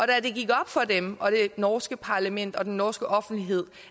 da det gik op for dem og for det norske parlament og den norske offentlighed